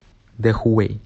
дэхуэй